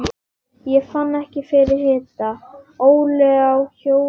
Fann ekki fyrir hita